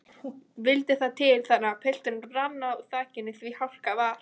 Vildi það til þannig að pilturinn rann á þakinu því hálka var.